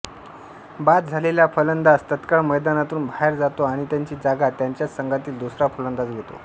बाद झालेल्या फलंदाज तात्काळ मैदानातून बाहेर जातो आणि त्याची जागा त्याच्याच संघातील दुसरा फलंदाज घेतो